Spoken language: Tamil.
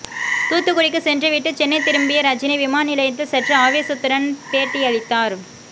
தூத்துக்குடிக்கு சென்றுவிட்டு சென்னை திரும்பிய ரஜினி விமான நிலையத்தில் சற்று ஆவேசத்துடன் பேட்டியளித்தார்